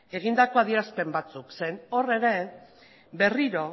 egindako adierazpen batzuk zeren hor ere berriro